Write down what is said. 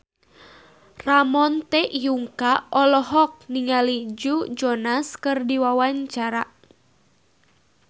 Ramon T. Yungka olohok ningali Joe Jonas keur diwawancara